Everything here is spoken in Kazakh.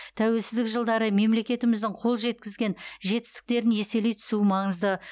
тәуелсіздік жылдары мемлекетіміздің қол жеткізген жетістіктерін еселей түсу маңызды